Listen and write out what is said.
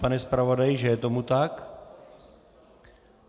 Pane zpravodaji, že je tomu tak?